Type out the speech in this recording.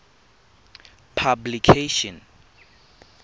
publication